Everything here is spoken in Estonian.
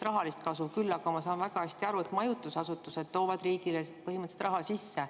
Küll aga ma saan väga hästi aru, et majutusasutused toovad riigile põhimõtteliselt raha sisse.